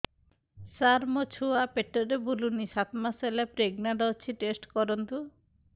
ସାର ମୋର ଛୁଆ ପେଟରେ ବୁଲୁନି ସାତ ମାସ ପ୍ରେଗନାଂଟ ଅଛି ଟେଷ୍ଟ କରନ୍ତୁ